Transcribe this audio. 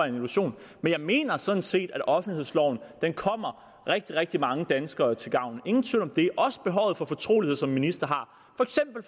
en illusion men jeg mener sådan set at offentlighedsloven kommer rigtig rigtig mange danskere til gavn ingen tvivl om det og også behovet for fortrolighed som en minister har